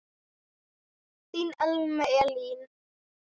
Þinn Elmar Elí.